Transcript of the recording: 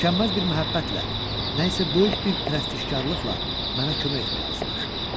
Tükənməz bir məhəbbətlə, nəsə böyük bir prestijkarlıqla mənə kömək etməyə arzulaşırdı.